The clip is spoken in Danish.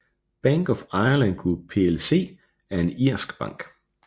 Bank of Ireland Group plc er en irsk bank